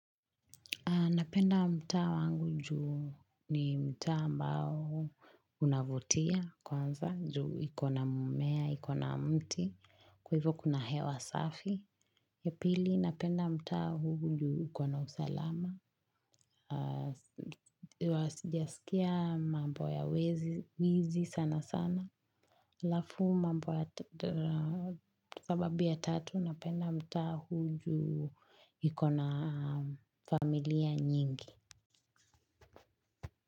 Napenda mtaa wangu juu ni mtaa ambao unavutia kwanza juu ikona mimea, ikona mti, kwa hivyo kuna hewa safi. Ya pili, napenda mtaa huu juu ikona usalama, sijasikia mambo ya wezi sana sana, alafu mambo ya sababu ya tatu napenda mta huu juu ikona familia nyingi.